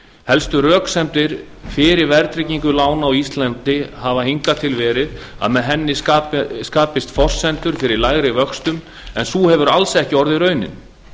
helstu röksemdir fyrir verðtryggingu lána á íslandi hafa hingað til verið að með henni skapist forsendur fyrir lægri vöxtum en sú hefur alls ekki orðið raunin